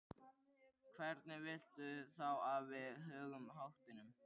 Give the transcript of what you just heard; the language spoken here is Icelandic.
Hvernig viltu þá að við högum háttunum?